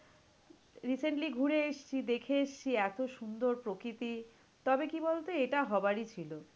Recently ঘুরে এসছি দেখে এসছি এতো সুন্দর প্রকৃতি, তবে কি বলতো? এটা হবারই ছিল।